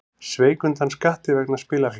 Sveik undan skatti vegna spilafíknar